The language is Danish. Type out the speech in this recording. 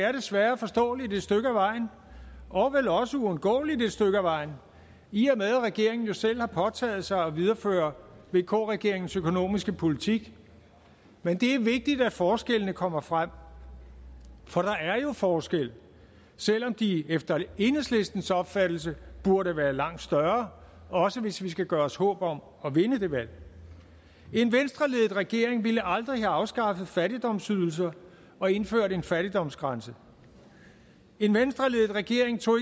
er desværre forståeligt et stykke ad vejen og vel også uundgåeligt et stykke ad vejen i og med at regeringen jo selv har påtaget sig at videreføre vk regeringens økonomiske politik men det er vigtigt at forskellene kommer frem for der er jo forskel selv om de efter enhedslistens opfattelse burde være langt større også hvis vi skal gøre os håb om at vinde det valg en venstreledet regering ville aldrig have afskaffet fattigdomsydelser og indført en fattigdomsgrænse en venstreledet regering tog